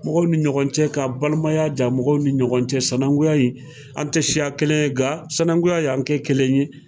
Mɔgɔw ni ɲɔgɔn cɛ ka balimaya ja, mɔgɔw ni ɲɔgɔn cɛ sanakunya in, an tɛ siya kelen ye, nka sinankunya y'an kɛ kelen ye.